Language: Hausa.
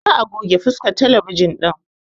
Za a goge faskan talabijin ɗin